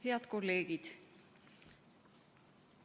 Head kolleegid!